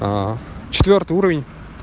четвёртый уровень